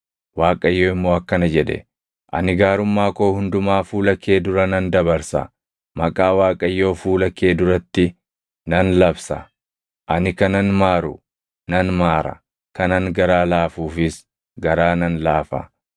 Waaqayyo immoo akkana jedhe; “Ani gaarummaa koo hundumaa fuula kee dura nan dabarsa; maqaa Waaqayyoo fuula kee duratti nan labsa. Ani kanan maaru nan maara; kanan garaa laafuufiis garaa nan laafa.